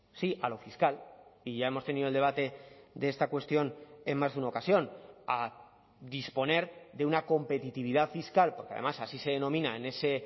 sí a lo fiscal y ya hemos tenido el debate de esta cuestión en más de una ocasión a disponer de una competitividad fiscal porque además así se denomina en ese